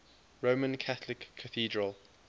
roman catholic cathedral